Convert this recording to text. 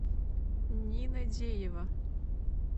нина деева